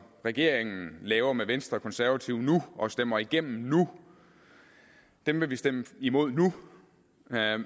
regeringen laver med venstre og konservative nu og stemmer igennem nu vil vi stemme imod nu